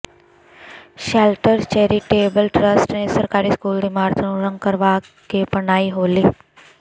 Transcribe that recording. shelter charitable trust ਨੇ ਸਰਕਾਰੀ school ਦੀ ਇਮਾਰਤ ਨੂੰ ਰੰਗ ਕਰਵਾ ਕੇ ਮਨਾਈ ਹੋਲੀ